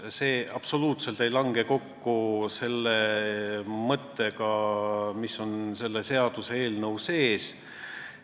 See absoluutselt ei lange kokku selle seaduseelnõu sisuga.